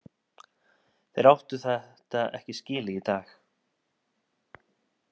Þeir áttu þetta ekki skilið í dag.